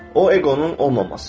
O eqonun olmamasıdır.